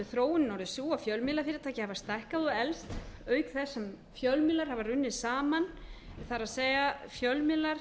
þróunin orðið sú að fjölmiðlafyrirtæki hafa stækkað og eflst auk þess sem fjölmiðlar hafa runnið saman það er fjölmiðlar